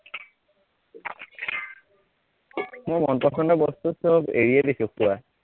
মোৰ মন পছন্দৰ বস্তু সৱ এৰিয়ে দিছো পোৰা